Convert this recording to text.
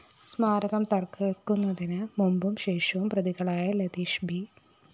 സ്മാരകം തകര്‍ക്കുന്നതിന് മുമ്പും ശേഷവും പ്രതികളായ ലതീഷ് ബി